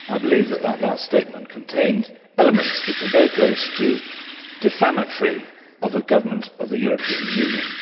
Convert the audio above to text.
I believe that last statement contained elements which were very close to being defamatory of a government of the European Union.